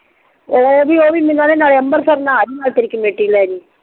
ਨਾਲੇ ਓ ਵੀ ਮੈਂਨੂੰ ਕਿਹੰਦੀ ਸੀ ਨਾਲੇ ਅੰਮ੍ਰਿਤਸਰ ਨਹਾ ਲਈ ਨਾਲੇ ਕਮੇਟੀ ਲੇਜੀ